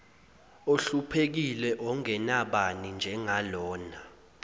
ohluphekile ongenabani njengalona